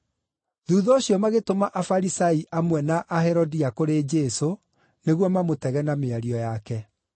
Thuutha ũcio magĩtũma Afarisai amwe na Aherodia kũrĩ Jesũ nĩguo mamũtege na mĩario yake.